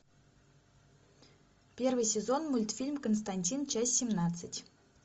первый сезон мультфильм константин часть семнадцать